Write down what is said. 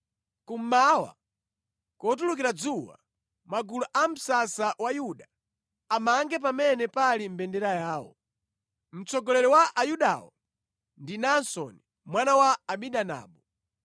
Kummawa, kotulukira dzuwa, magulu a msasa wa Yuda amange pamene pali mbendera yawo. Mtsogoleri wa Ayudawo ndi Naasoni mwana wa Aminadabu.